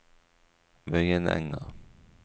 Vøyenenga